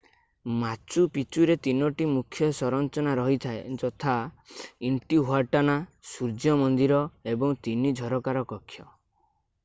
ମାଚୁ Picchu ରେ ତିନୋଟି ମୁଖ୍ୟ ସଂରଚନା ରହିଥାଏ ଯଥା ଇଣ୍ଟିହୁଆଟନା ସୂର୍ଯ୍ୟ ମନ୍ଦିର ଏବଂ ତିନି ଝରକାର କକ୍ଷ